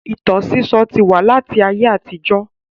Ìtàn sísọ́ ti wà láti ayé àtijọ́